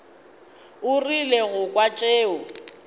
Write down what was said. o rile go kwa tšeo